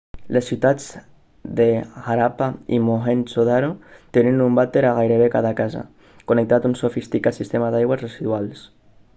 les ciutats de harappa i mohenjo-daro tenien un vàter a gairebé cada casa connectat un sofisticat sistema d'aigües residuals